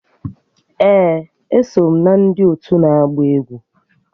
Ee, eso m na ndị otu ndị na-agba egwu